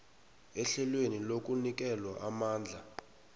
ehlelweni lokunikelwa amandla